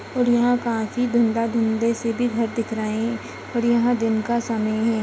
और यहाँ से भी घर दिख रहे है और यहाँ दिन का समय है।